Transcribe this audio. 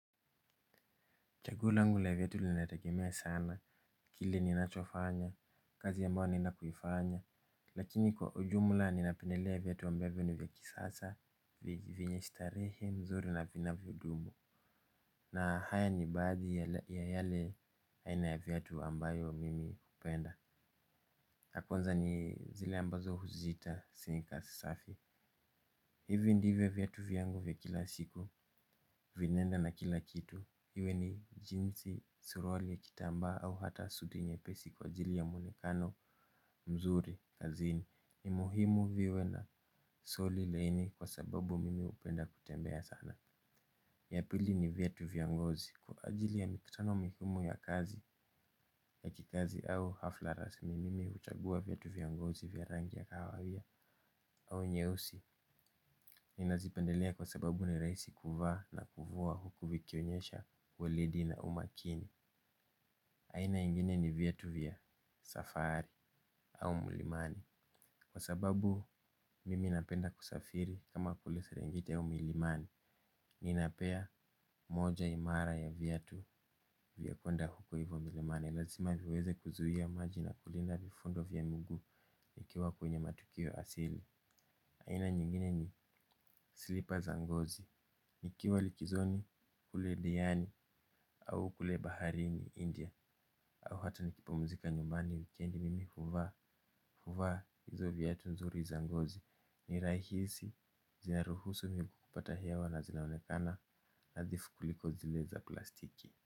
Chaguo langu la viatu linategemea sana kile ninachofanya kazi ambayo ninapoifanya. Lakini kwa ujumla ninapendelea viatu ambavyo ni vya kisasa vyenye starehe mzuri na vinavyodumu na haya ni baadhi ya yale aina ya viatu ambayo mimi hupenda ya kwnza ni zile ambazo huziita sneakers safi. Hivi ndivyo viatu vya yangu vya kila siku vinaenda na kila kitu. Iwe ni jinsi suruali ya kitambaa au hata suti nyepesi kwa ajili ya muonekano mzuri kazini. Ni muhimu viwe na soli laini kwa sababu mimi hupenda kutembea sana. Ya pili ni viatu vya ngozi kwa ajili ya mikutano migumu ya kazi ya kikazi au hafla rasmi. Mimi huchagua viatu vya ngozi vya rangi ya kahawia au nyeusi. Ninazipendelea kwa sababu ni rahisi kuvaa na kuvua huku vikionyesha weledi na umakini. Aina ingine ni viatu vya safari au milimani. Kwa sababu mimi napenda kusafiri kama kule serengeti au milimani ninapea moja imara ya viatu vya kwenda huko hivyo milimani. Lazima viweze kuzuia maji na kulinda vifundo vya mguu vikiwa kwenye matukio asili. Aina nyingine ni slipper za ngozi. Nikiwa likizoni kule diani au kule baharini India au hata nikipumzika nyumbani wikendi mimi huvaa huvaa hizo viatu nzuri za ngozi ni rahisi zinaruhusu miguu kupata hewa na zinaonekana nadhifu kuliko zile za plastiki.